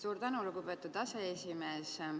Suur tänu, lugupeetud aseesimees!